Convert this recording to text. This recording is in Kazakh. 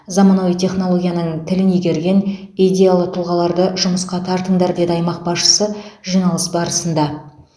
заманауи технологияның тілін игерген идеялы тұлғаларды жұмысқа тартыңдар деді аймақ басшысы жиналыс барысында